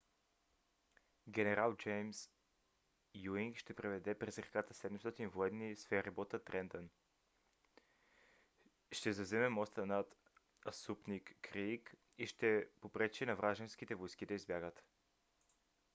генерал джеймс юинг ще преведе през реката 700 военни с ферибота трентън ще завземе моста над асунпинк крийк и ще попречи на вражеските войски да избягат